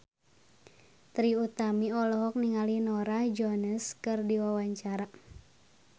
Trie Utami olohok ningali Norah Jones keur diwawancara